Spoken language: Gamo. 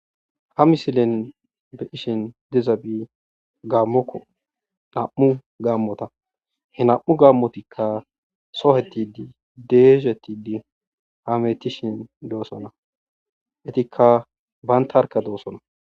Ha misilen bettizaysi dizabi gaamoko nam'u gamota ha nam'u gamotika sohetidi doshetidi hametishe de'osona etika bantarka dosona